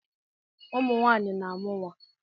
Umunwaanyị na-amụ nwa